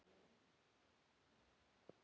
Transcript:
Hverju svararðu þessu?